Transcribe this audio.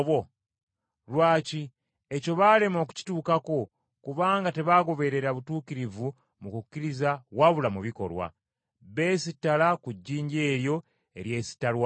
Lwaki? Ekyo baalema okukituukako kubanga tebaagoberera butuukirivu mu kukkiriza wabula mu bikolwa. Beesittala ku jjinja eryo eryesittalwako,